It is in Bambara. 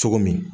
Cogo min